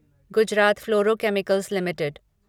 Gujarat fluoro chemicals limited